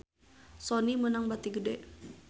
Sony meunang bati gede